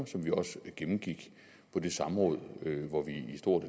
som vi også gennemgik på det samråd hvor vi i stor